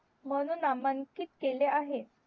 म्हणून नामांकित केले आहे